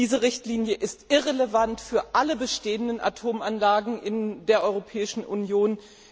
Diese Richtlinie ist irrelevant für alle bestehenden Atomanlagen in der Europäischen Union.